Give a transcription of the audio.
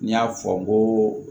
N y'a fɔ n ko